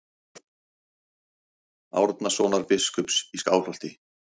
Árnasonar biskups í Skálholti.